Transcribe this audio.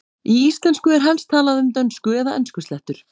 Í íslensku er helst talað um dönsku- eða enskuslettur.